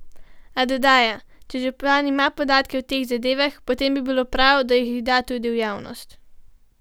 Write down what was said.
A dodaja: "Če župan ima podatke o teh zadevah, potem bi bilo prav, da jih da tudi v javnost.